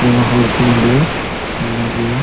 ᱟᱭᱢᱟ ᱦᱚᱲ ᱠᱩ ᱱᱚᱰᱮ ᱢᱮᱱᱟᱜ ᱜᱤᱭᱟ᱾